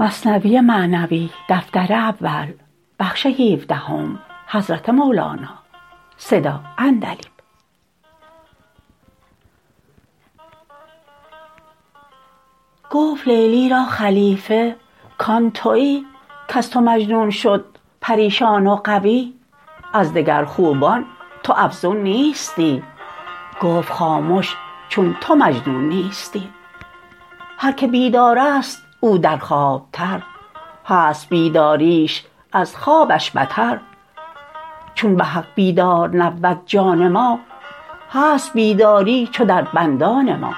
گفت لیلی را خلیفه کان توی کز تو مجنون شد پریشان و غوی از دگر خوبان تو افزون نیستی گفت خامش چون تو مجنون نیستی هر که بیدارست او در خواب تر هست بیداریش از خوابش بتر چون بحق بیدار نبود جان ما هست بیداری چو در بندان ما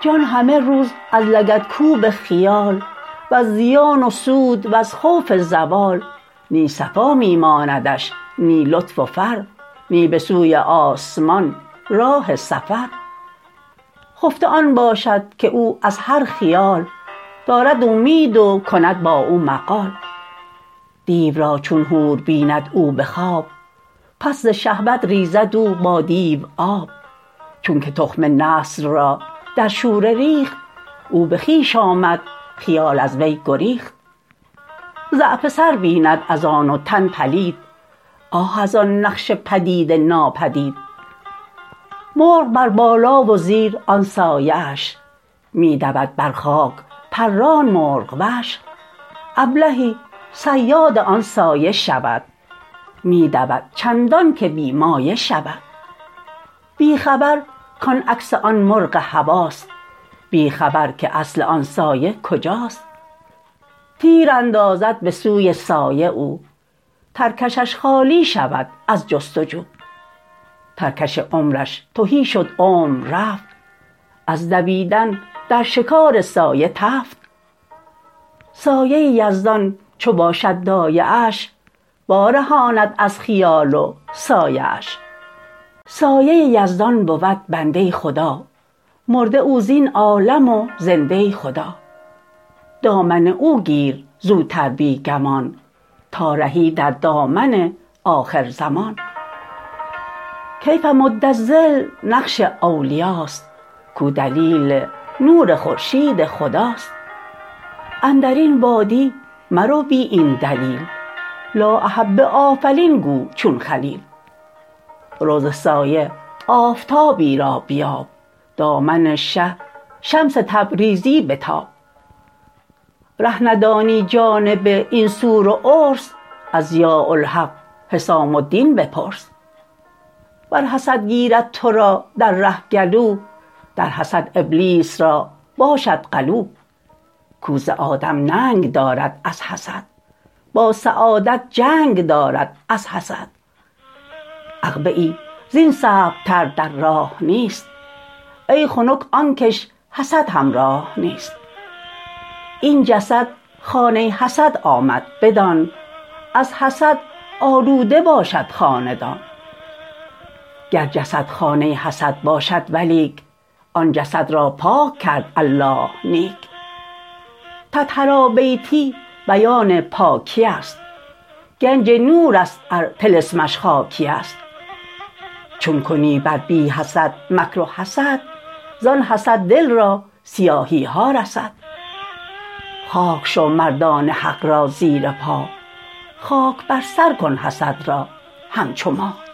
جان همه روز از لگدکوب خیال وز زیان و سود وز خوف زوال نی صفا می ماندش نی لطف و فر نی به سوی آسمان راه سفر خفته آن باشد که او از هر خیال دارد اومید و کند با او مقال دیو را چون حور بیند او به خواب پس ز شهوت ریزد او با دیو آب چونک تخم نسل را در شوره ریخت او به خویش آمد خیال از وی گریخت ضعف سر بیند از آن و تن پلید آه از آن نقش پدید ناپدید مرغ بر بالا و زیر آن سایه اش می دود بر خاک پران مرغ وش ابلهی صیاد آن سایه شود می دود چندانکه بی مایه شود بی خبر کان عکس آن مرغ هواست بی خبر که اصل آن سایه کجاست تیر اندازد به سوی سایه او ترکشش خالی شود از جست و جو ترکش عمرش تهی شد عمر رفت از دویدن در شکار سایه تفت سایه یزدان چو باشد دایه اش وا رهاند از خیال و سایه اش سایه یزدان بود بنده ی خدا مرده او زین عالم و زنده ی خدا دامن او گیر زوتر بی گمان تا رهی در دامن آخر زمان کيۡف مد ٱلظل نقش اولیاست کو دلیل نور خورشید خداست اندرین وادی مرو بی این دلیل لآ أحب ٱلۡأٓفلين گو چون خلیل رو ز سایه آفتابی را بیاب دامن شه شمس تبریزی بتاب ره ندانی جانب این سور و عرس از ضیاء الحق حسام الدین بپرس ور حسد گیرد ترا در ره گلو در حسد ابلیس را باشد غلو کو ز آدم ننگ دارد از حسد با سعادت جنگ دارد از حسد عقبه ای زین صعب تر در راه نیست ای خنک آنکش حسد همراه نیست این جسد خانه ی حسد آمد بدان از حسد آلوده باشد خاندان گر جسد خانه ی حسد باشد ولیک آن جسد را پاک کرد الله نیک طهرا بیتی بیان پاکی است گنج نورست ار طلسمش خاکی است چون کنی بر بی حسد مکر و حسد زان حسد دل را سیاهی ها رسد خاک شو مردان حق را زیر پا خاک بر سر کن حسد را همچو ما